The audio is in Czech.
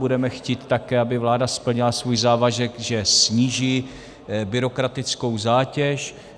Budeme chtít také, aby vláda splnila svůj závazek, že sníží byrokratickou zátěž.